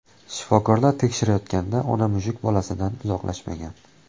Shifokorlar tekshirayotganida ona mushuk bolasidan uzoqlashmagan.